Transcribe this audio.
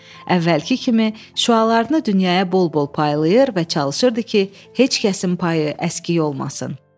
Əvvəlki kimi şüalarını dünyaya bol-bol paylayır və çalışırdı ki, heç kəsin payı əskik olmasın.